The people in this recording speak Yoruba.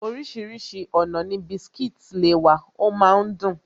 Orísìírísìí ọ̀nà ni biscuits le wà, ọ máa ń dùn